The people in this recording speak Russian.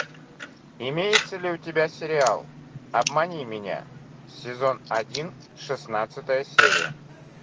имеется ли у тебя сериал обмани меня сезон один шестнадцатая серия